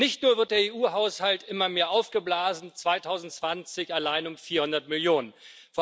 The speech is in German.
Nicht nur wird der EU Haushalt immer mehr aufgeblasen, 2020 allein um 400 Millionen EUR